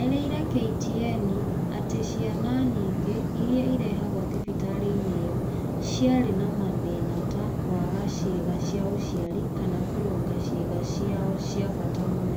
eerire KTN atĩ Ciana nyingĩ iria irehagũo thibitarĩ-inĩ ĩyo ciarĩ na mathĩna, ta kwaga ciĩga cia ũciari, kana kũrũga ciĩga ciao cia bata nene.